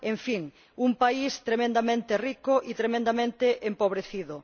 En fin, un país tremendamente rico y tremendamente empobrecido.